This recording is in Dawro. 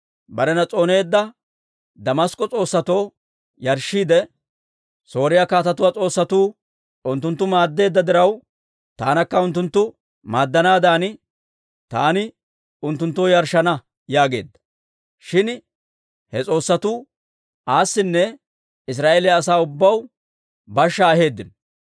Barena s'ooneedda Damask'k'o s'oossatoo yarshshiidde, «Sooriyaa kaatetuwaa s'oossatuu unttunttu maaddeedda diraw, taanakka unttunttu maaddanaadan taani unttunttoo yarshshana» yaageedda. Shin he s'oossatuu aasinne Israa'eeliyaa asaa ubbaw bashshaa aheeddino.